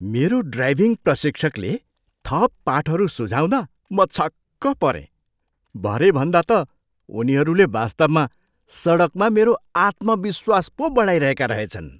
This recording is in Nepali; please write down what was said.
मेरो ड्राइभिङ प्रशिक्षकले थप पाठहरू सुझाउँदा म छक्क परेँ। भरे भन्दा त उनीहरूले वास्तवमा सडकमा मेरो आत्मविश्वास पो बढाइरहेका रहेछन्।